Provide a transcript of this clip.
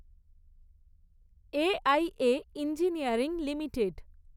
A. I. A engineering limited